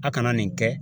A kana nin kɛ